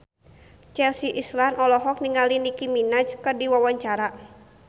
Chelsea Islan olohok ningali Nicky Minaj keur diwawancara